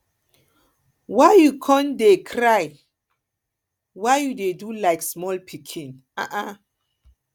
why you come dey come dey cry why you dey do like small pikin